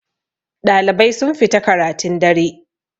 ɗalibai sun fita karatun dare